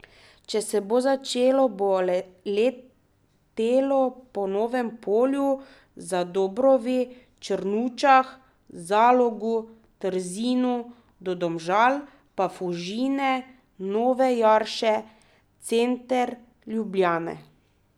Če se bo začelo bo letelo po Novem Polju, Zadobrovi, Črnučah, Zalogu, Trzinu do Domžal, pa Fužine, Nove Jarše, center Ljubljane.